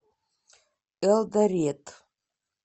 элдорет